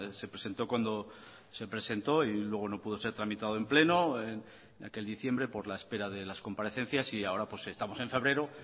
se presentó cuando se presentó y luego no pudo ser tramitado en pleno en aquel diciembre por la espera de las comparecencias y ahora pues estamos en febrero